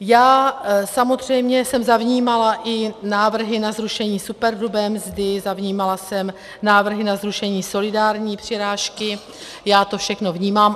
Já samozřejmě jsem zavnímala i návrhy na zrušení superhrubé mzdy, zavnímala jsem návrhy na zrušení solidární přirážky, já to všechno vnímám.